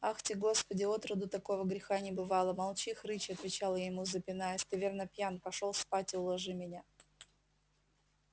ахти господи отроду такого греха не бывало молчи хрыч отвечал я ему запинаясь ты верно пьян пошёл спать и уложи меня